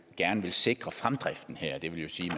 gerne vil sikre fremdriften her det vil sige